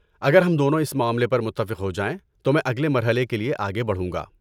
اگر ہم دونوں اس معاملے پر متفق ہو جائیں تو میں اگلے مرحلے کے لیے آگے بڑھوں گا۔